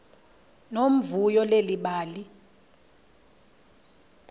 nomvuyo leli bali